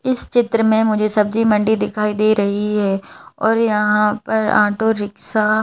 इस चित्र में मुझे सब्जी मंडी दिखाई दे रही है और यहां पर ऑटो रिक्शा।